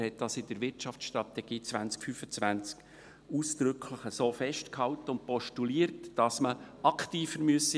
Er hat dies in der Wirtschaftsstrategie 2025 ausdrücklich so festgehalten und postuliert, dass man aktiver werden müsse.